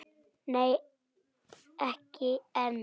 Nei, ekki enn.